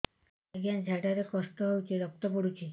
ଅଜ୍ଞା ଝାଡା ରେ କଷ୍ଟ ହଉଚି ରକ୍ତ ପଡୁଛି